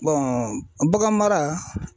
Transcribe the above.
bagan mara.